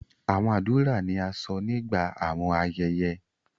Awọn adura ni a sọ nigba awọn ayẹyẹ